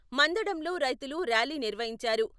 మందడంలో రైతులు ర్యాలీ నిర్వహించారు.